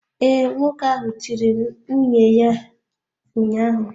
Ee, nwoke ahụ tiri nwunye ya ụnyahụ.